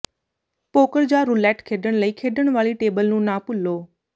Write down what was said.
poker ਜਾਂ roulette ਖੇਡਣ ਲਈ ਖੇਡਣ ਵਾਲੀ ਟੇਬਲ ਨੂੰ ਨਾ ਭੁੱਲੋ